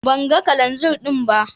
Ban gan Kananzir din ba.